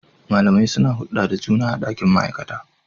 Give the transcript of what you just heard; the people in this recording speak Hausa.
Malamai suna hulɗa da juna a ɗakin ma'aikata.